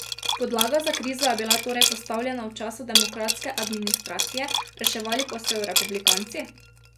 Podlaga za krizo je bila torej postavljena v času demokratske administracije, reševali pa so jo republikanci?